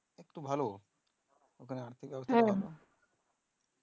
ভালো